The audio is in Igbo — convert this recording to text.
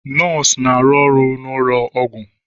Nọọsụ na-arụ ọrụ n'ụlọ ọgwụ.